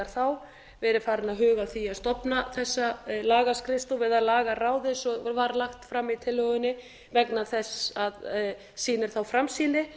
þá verið farinn að huga að því að stofna þessa lagaskrifstofu eða lagaráð eins og var lagt fram í tillögunni vegna þess að það sýnir þá framsýni